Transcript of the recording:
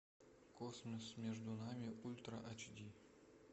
космос между нами ультра эйч ди